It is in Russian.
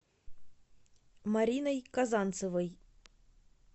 мариной казанцевой